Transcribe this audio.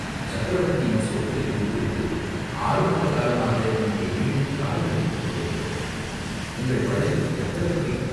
"சக்கரவர்த்தியின் சோற்றைத் தின்றுகொண்டு ஆறு மாத காலமாக இங்கே வீணில் காலங்கழித்துக் கொண்டிருக்கிறோம்." "உங்கள் படையில் எத்தனை கை?